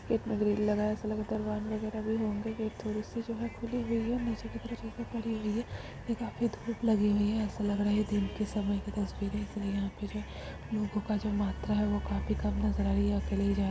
एक में ग्रिल में लगा है ऐसा लगा की दरबार नजर आ रहे होंगे गेट थोड़ी सी जो है खुली हुई है नीचे की तरफ पड़ी हुई है ये काफी धुप लगी हुई है ऐसा लग रहा है दिन के समय का तस्वीर है इसलिए यहाँ पे जो वो काफी कम नजर आ रही है अकेले जा --